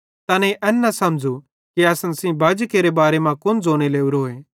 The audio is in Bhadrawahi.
तैनेईं एन न समझ़ू कि असन सेइं बाजी केरे बारे मां कुन ज़ोने लोरोए